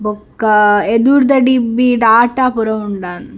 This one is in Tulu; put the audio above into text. ಬೊಕ್ಕ ಎದುರುದ ಡಿಬಿಡ್ ಆಟ್ಟ ಪೂರ ಉಂಡಾಂದ್‌.